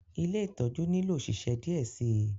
Ìlé itọju nilo oṣiṣẹ diẹ sii